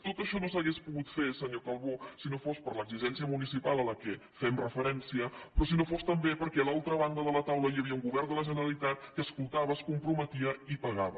tot això no s’hauria pogut fer senyor calbó si no fos per l’exigència municipal a què fem referència però si no fos també perquè a l’altra banda de la taula hi havia un govern de la generalitat que escoltava es comprometia i pagava